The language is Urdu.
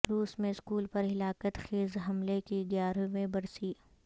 روس میں اسکول پر ہلاکت خیز حملے کی گیارہویں برسی